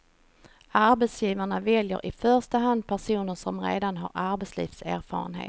Arbetsgivarna väljer i första hand personer som redan har arbetslivserfarenhet.